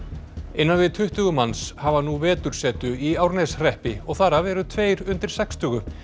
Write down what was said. innan við tuttugu manns hafa nú vetursetu í Árneshreppi og þar af eru tveir undir sextugu